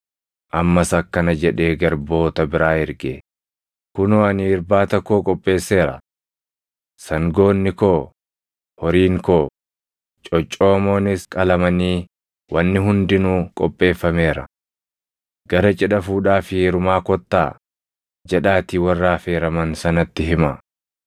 “Ammas akkana jedhee garboota biraa erge; ‘Kunoo ani irbaata koo qopheesseera: Sangoonni koo, horiin koo coccoomoonis qalamanii wanni hundinuu qopheeffameera. Gara cidha fuudhaa fi heerumaa kottaa jedhaatii warra affeeraman sanatti himaa.’